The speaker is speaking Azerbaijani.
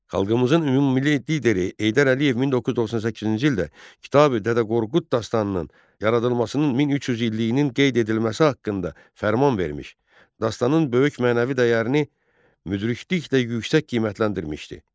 Xalqımızın ümummilli lideri Heydər Əliyev 1998-ci ildə Kitabi-Dədə Qorqud dastanının yaradılmasının 1300 illiyinin qeyd edilməsi haqqında fərman vermiş, dastanının böyük mənəvi dəyərini müdrikliklə yüksək qiymətləndirmişdi.